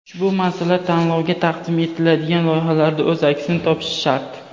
ushbu masala tanlovga taqdim etiladigan loyihalarda o‘z aksini topishi shart.